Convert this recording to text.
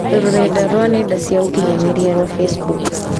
rũrenda rũa nenda cia ũkĩnyaniria rũa Facebook